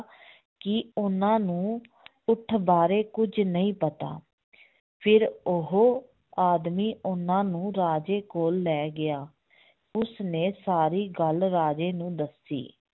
ਕਿ ਉਹਨਾਂ ਨੂੰ ਊਠ ਬਾਰੇ ਕੁੱਝ ਨਹੀਂ ਪਤਾ ਫਿਰ ਉਹ ਆਦਮੀ ਉਹਨਾਂ ਨੂੰ ਰਾਜੇ ਕੋਲ ਲੈ ਗਿਆ ਉਸਨੇ ਸਾਰੀ ਗੱਲ ਰਾਜੇ ਨੂੰ ਦੱਸੀ